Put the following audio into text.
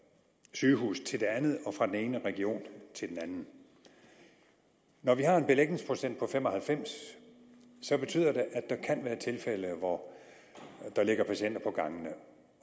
sygehus til det andet og fra den ene region til den anden når vi har en belægningsprocent på fem og halvfems betyder det at der kan være tilfælde hvor der ligger patienter på gangene